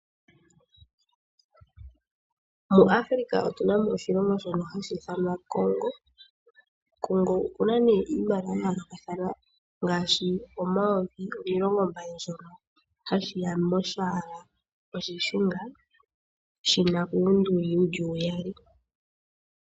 Mu Africa otu na mo oshilongo shono hashi ithanwa Congo. Congo oku na nee iimaliwa ya yoolokathana ngaashi omayovi omilongo mbali shono hashi ya molwaala olushunga, shi na uundungu wu li uyali.